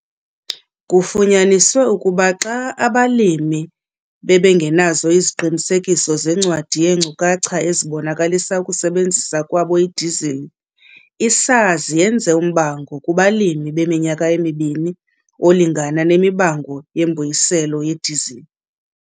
Kufunyaniswe ukuba xa abalimi bengenaziqinisekiso zencwadi yeenkcukacha ezibonisa ukusebenzisa kwabo idizili, i-SARS yenze umbango kubalimi weminyaka emi-2 olingana nemibango yembuyiselo yedizili.